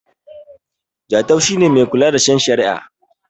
Jatau shi ne Mai kula da shen shari'a